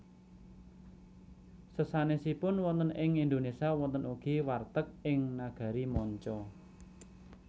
Sesanèsipun wonten ing Indonesia wonten ugi warteg ing nagari manca